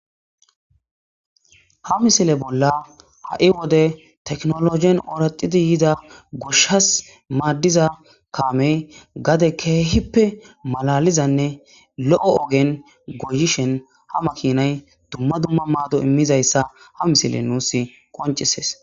Ha misile bolla ha7i wode teknologen ooraxidi yida goshas maaddiza kaamey gade keehippe malalizanne lo7o ogen goyishen ha makinay dumma dumma maado immizayssa ha misile nuus qoncisees.